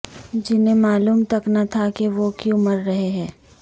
جنہیں معلوم تک نہ تھا کہ وہ کیوں مر رہے ہیں